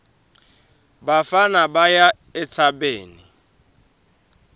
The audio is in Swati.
bafana baya entsabeni